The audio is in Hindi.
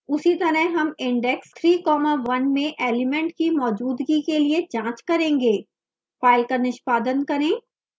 उसी तरह हम index three comma one में element की मौजूदगी के लिए जाँच करेंगे फाइल का निष्पादन करें